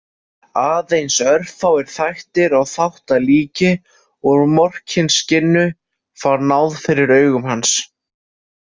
Aðeins örfáir þættir og þáttalíki úr Morkinskinnu fá náð fyrir augum hans.